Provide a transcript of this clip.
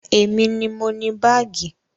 Èmi ni mo ni baagi